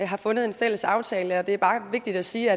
har fundet en fælles aftale og det er bare er vigtigt at sige